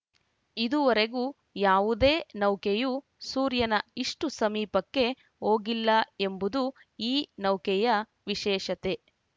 ಇದುವರೆಗೂ ಯಾವುದೇ ನೌಕೆಯೂ ಸೂರ್ಯನ ಇಷ್ಟುಸಮೀಪಕ್ಕೆ ಹೋಗಿಲ್ಲ ಎಂಬುದು ಈ ನೌಕೆಯ ವಿಶೇಷತೆ